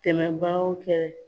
Tɛmɛbagaw fɛ.